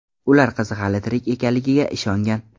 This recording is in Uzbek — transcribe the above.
Ular qizi hali tirik ekanligiga ishongan.